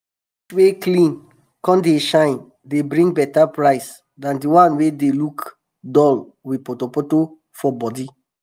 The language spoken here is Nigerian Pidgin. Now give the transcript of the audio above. um fish wey clean come dey shine dey bring beta price than di wan wey dey look dull with potopoto for um bodi.